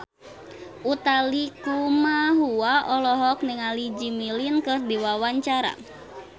Utha Likumahua olohok ningali Jimmy Lin keur diwawancara